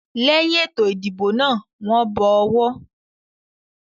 Lẹ́yin ètò ìdìbò náà, wọ́n bọ ọwọ́.